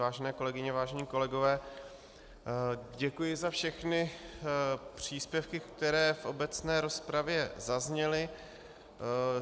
Vážené kolegyně, vážení kolegové, děkuji za všechny příspěvky, které v obecné rozpravě zazněly.